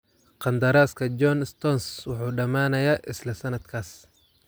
Qandaraaska John Stones wuxuu dhamaanayaa isla sanadkaas.